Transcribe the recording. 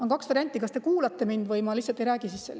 On kaks varianti: kas te kuulate mind või ma lihtsalt ei räägi.